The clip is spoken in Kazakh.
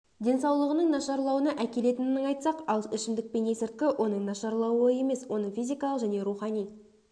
денсаулығының нашарлауына әкелетінін айтсақ ал ішімдік пен есірткі оның нашарлауы емес оның физикалық және рухани